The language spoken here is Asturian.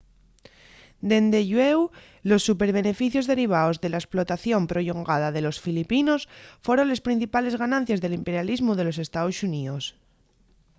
dende llueu los superbeneficios derivaos de la esplotación prollongada de los filipinos foron les principales ganancies del imperialismu de los estaos xuníos